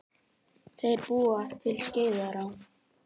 Þeir búa til Skeiðará.